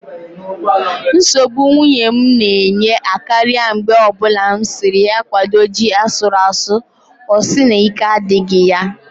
Nsogbụ nwunye m na-enye akaria mgbe o bụla m siri ya kwado ji asuru asụ ọ sị na ike adịghị ya